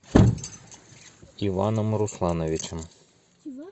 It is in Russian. иваном руслановичем